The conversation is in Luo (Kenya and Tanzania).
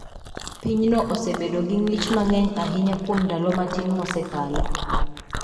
Pinyno osebedo gi ng`ich mang'eny ahinya kuom ndalo matin mosekalo.